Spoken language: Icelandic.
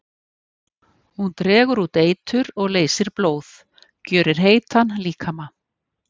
Hún dregur út eitur og leysir blóð, gjörir heitan líkama.